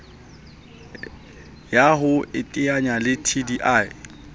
ya ho iteanya le dti